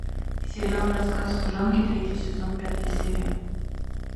сериал рассказ служанки третий сезон пятая серия